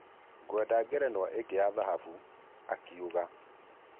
Gũenda ngerenwa ĩnge ya thahabũ,"akiuga